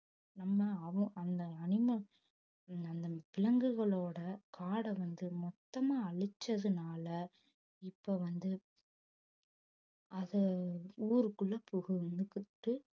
நம்ம அவன் அந்த animal அந்த அந்த விலங்குகளோட காட வந்து மொத்தமா அழிச்சதுனால இப்ப வந்து அது ஊருக்குள்ள புகுந்துகிட்டு